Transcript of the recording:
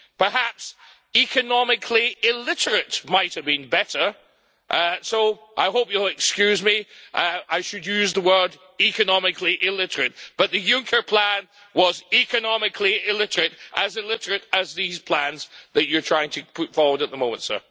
Perhaps economically illiterate' might have been better, so I hope you'll excuse me, I should use the word economically illiterate', but the Juncker plan was economically illiterate, as illiterate as these plans that you're trying to put forward at the moment.